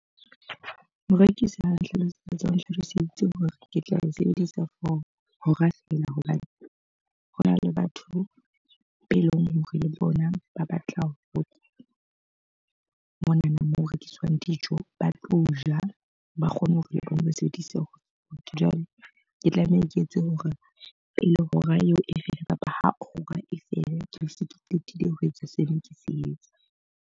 Ho rekisi ha nhlalosetsa, o nhlaloseditse hore ke tla sebedisa for hora fela. Hobane hona le batho be leng hore le bona ba batla ho botsa monana moo ho rekiswang dijo, ba tlo ja. Ba kgone hore ba e sebedise. Jwale ke tlameha ke etse hore pele hora eo e fihla kapa ha hora e fela ke be se ke qetile ho etsa seno ke se etsa.